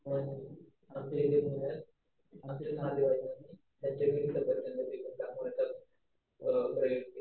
पण आमच्या इथे